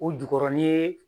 O jukɔrɔ ni ye